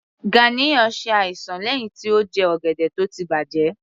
Ganiya ṣe àìsàn lẹ́hìn tí ó jẹ ọ̀gẹ̀dẹ̀ tó ti bàjẹ́